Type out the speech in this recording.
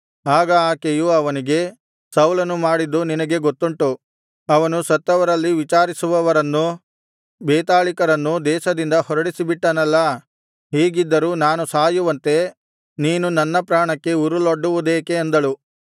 ಆಗ ಆಕೆಯು ಅವನಿಗೆ ಸೌಲನು ಮಾಡಿದ್ದು ನಿನಗೆ ಗೊತ್ತುಂಟು ಅವನು ಸತ್ತವರಲ್ಲಿ ವಿಚಾರಿಸುವವರನ್ನು ಬೇತಾಳಿಕರನ್ನೂ ದೇಶದಿಂದ ಹೊರಡಿಸಿಬಿಟ್ಟನಲ್ಲಾ ಹೀಗಿದ್ದರೂ ನಾನೂ ಸಾಯುವಂತೆ ನೀನು ನನ್ನ ಪ್ರಾಣಕ್ಕೆ ಉರುಲೊಡ್ಡುವುದೇಕೆ ಅಂದಳು